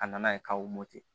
A nana ye k'aw moto tɛ